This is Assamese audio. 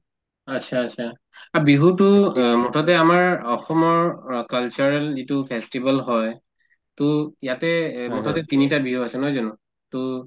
achcha achha অ বিহুতো মুঠতে আমাৰ অসমৰ অ cultural যিটো festival হয় to ইয়াতে এই মুঠতে তিনটা বিহু আছে নহয় জানো to